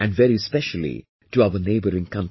And very specially to our neighbouring countries